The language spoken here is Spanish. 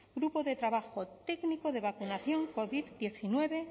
grupo de trabajo técnico de vacunación covid diecinueve